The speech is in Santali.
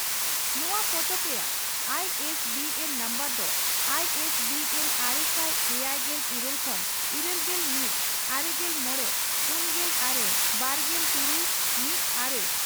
ᱱᱚᱣᱟ ᱯᱚᱛᱚᱵ ᱨᱮᱱᱟᱜ ᱟᱭᱤᱹᱮᱥᱹᱵᱤᱹᱮᱱᱹ ᱱᱚᱢᱵᱚᱨ ᱫᱚ ᱟᱭ ᱮᱥ ᱵᱤ ᱮᱱ ᱟᱨᱮᱥᱟᱭ ᱮᱭᱟᱭᱜᱮᱞ ᱤᱨᱟᱹᱞ ᱠᱷᱚᱱ ᱤᱨᱟᱹᱞᱜᱮᱞ ᱢᱤᱛ ᱼᱟᱨᱮᱜᱮᱞ ᱢᱚᱲᱮ ᱯᱩᱱᱜᱮᱞ ᱟᱨᱮ ᱵᱟᱨᱜᱮᱞ ᱛᱩᱨᱩᱭ ᱼᱢᱤᱛ ᱟᱨᱮ